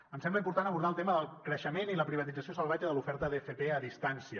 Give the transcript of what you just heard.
ens sembla important abordar el tema del creixement i la privatització salvatge de l’oferta d’fp a distància